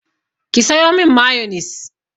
Ki sayo min mayonis!